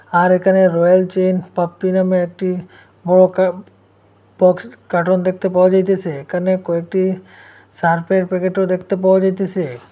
আর এখানে রয়েছে পাপ্পি নামে একটি বড় কা বক্স কার্টন দেখতে পাওয়া যাইতেসে এখানে কয়েকটি শারফের প্যাকেট ও দেখতে পাওয়া যাইতেসে।